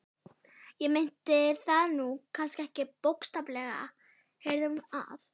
Ég meinti það nú kannski ekki bókstaflega, heyrði hún að